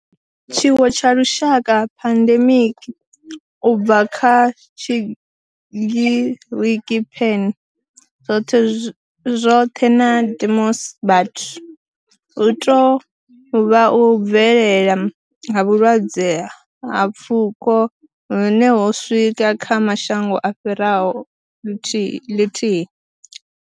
Tshiwo tsha lushaka, pandemic, u bva kha Tshigiriki pan, zwothe na demos, vhathu, hu tou vha u bvelela ha vhulwadze ha pfuko hune ho swika kha mashango a fhiraho lithihi.